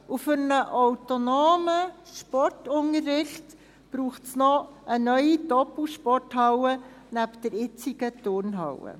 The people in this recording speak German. Für einen autonomen Sportunterricht braucht es noch eine neue Doppelsporthalle neben der jetzigen Turnhalle.